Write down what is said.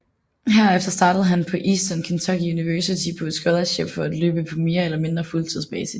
Herefter startede han på Eastern Kentucky University på et scholarship for at løbe på mere eller mindre fuldtids basis